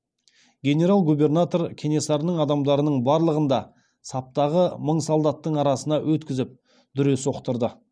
генерал губернатор кенесарының адамдарының барлығын да саптағы мың солдаттың арасынан өткізіп дүре соқтырды